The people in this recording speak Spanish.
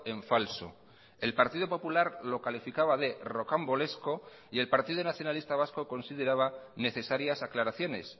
en falso el partido popular lo calificaba de rocambolesco y el partido nacionalista vasco consideraba necesarias aclaraciones